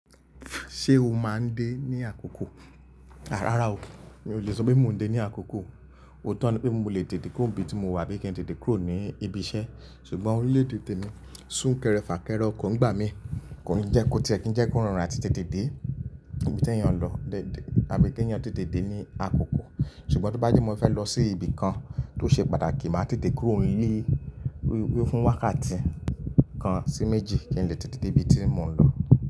Ṣé o máa ń dé ní àkókò? À rárá o, mi ò le sọ pé mò ń dé ní àkókò. Otó ńi pé mo lè tètè kúrò nbi tí mo wà bí i kí n tètè kúrò ní ibi iṣẹ́, ṣùgbọ́n órilede tèmi sún kẹrẹ fà kẹre, okò n gbà mí, kò n jẹ kó tí ẹ kí ń jẹ́ kó rọrùn àti tètè dé ibi tí ẹ̀yàn lọ dèdè àbí kí ẹ̀yàn tètè dé ní àkókò. Ṣùgbọ́n to bá jẹ́ mo fẹ́ lọ sí ibi kan tó ṣe pàtàkì, màá tètè kúrò n le fún wákàtí kan sí méjì kí n lè tètè dé ibi tí mò ń lọ.